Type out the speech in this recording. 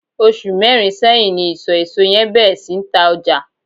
osu merin seyin ni iso eso yen beer si ni ta oja